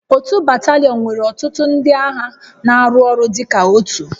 Otu batalion nwere ọtụtụ ndị agha na-arụ ọrụ dịka otu